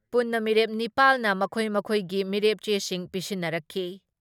ꯄꯨꯟꯅ ꯃꯤꯔꯦꯞ ꯅꯤꯄꯥꯜ ꯅ ꯃꯈꯣꯏ ꯃꯈꯣꯏꯒꯤ ꯃꯤꯔꯦꯞꯆꯦꯁꯤꯡ ꯄꯤꯁꯤꯟꯅꯔꯛꯈꯤ ꯫